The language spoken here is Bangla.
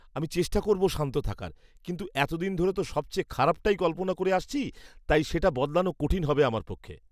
আমি চেষ্টা করব শান্ত থাকার। কিন্তু এতদিন ধরে তো সবচেয়ে খারাপটাই কল্পনা করে আসছি। তাই সেটা বদলানো কঠিন হবে আমার পক্ষে।